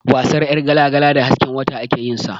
Wasan ƴargala-gala da hasken wata ake yin sa.